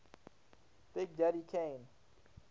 big daddy kane